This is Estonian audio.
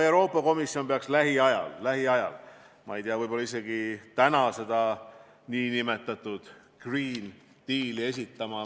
Euroopa Komisjon peaks lähiajal – ma ei tea, võib-olla isegi täna – seda nn green deal'i esitama.